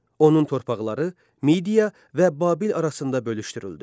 Onun torpaqları Midia və Babil arasında bölüşdürüldü.